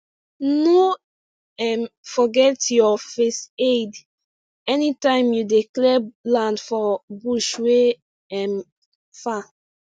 no um forget your first aid anytime you dey clear land for bush wey um far